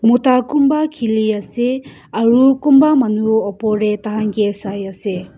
mota kunba khiliase aro kunba manu takhan kae saiase.